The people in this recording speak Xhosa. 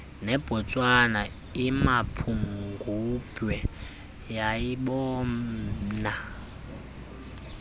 nebotswana imapungubwe yayibobona